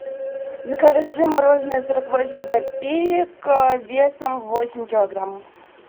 закажи мороженое сорок восемь копеек весом восемь килограмм